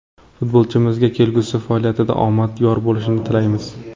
Futbolchimizga kelgusi faoliyatida omad yor bo‘lishini tilaymiz!